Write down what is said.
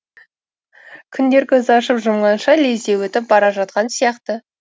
күндер көзді ашып жұмғанша лезде өтіп бара жатқан сияқты